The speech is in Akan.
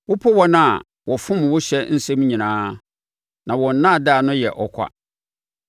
Wopo wɔn a wɔfom wo ɔhyɛ nsɛm nyinaa, na wɔn nnaadaa no yɛ ɔkwa.